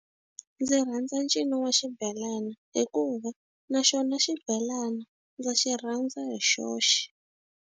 Ndzi rhandza ncino wa xibelani hikuva, na xona xibelana ndza xi rhandza hi xoxe.